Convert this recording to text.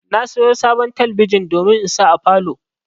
Na sayo sabon talabijin domin in sa a falow